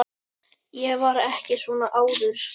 Ég var ekki svona áður.